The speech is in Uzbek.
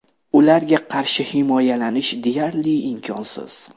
Ularga qarshi himoyalanish deyarli imkonsiz.